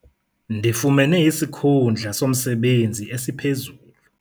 Ndifumene isikhundla somsebenzi esiphezulu.